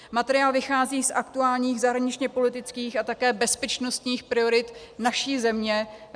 Materiál vychází z aktuálních zahraničně-politických a také bezpečnostních priorit naší země.